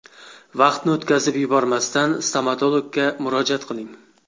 Vaqtni o‘tkazib yubormasdan stomatologga murojaat qiling.